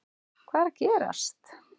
HVAÐ ER AÐ GERAST???